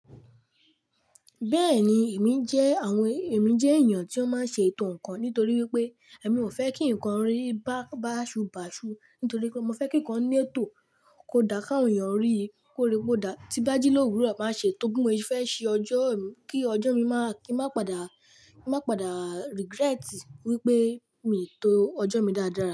Bẹ́ẹ̀ni èmi jẹ́, àwọn èmi jẹ́ èèyàn tí wọ́n máa ń ṣe ètò nǹkan nítorí wípé èmi ò fẹ́ kí ǹkan rí bá, bá ṣubàṣu nítorí pé mo fẹ́ kí ǹkan ní ètò kó dá ká àwọn èèyàn rí kó rí pé ó dá. Ti bá jí lórùrọ máa ṣe, tó bí mo fẹ́ ṣe ọjọ́ mi kí ọjọ́ mi máa, kí n má pàdá, kí n má pàdá regret wípé mi to ọjọ́ mi dáadáa.